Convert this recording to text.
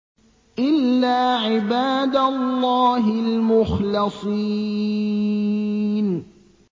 إِلَّا عِبَادَ اللَّهِ الْمُخْلَصِينَ